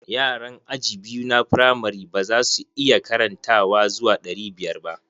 Yaran aji biyu na firamari ba za su iya karantawa zuwa ɗari biyar ba.